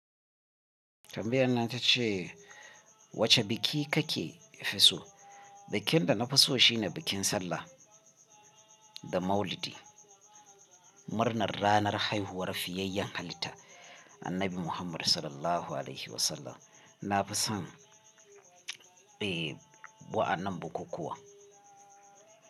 Tambayar nan tace wace biki kake fi so? Bikin da na fi so shine bikin Sallah da Maulidi. Murnar ranar haihuwar fiyayyen halitta, Annabi Muhammad Sallallahu Alaihi Wasallam. Na fi son, eh, wa'anan bukukkuwan.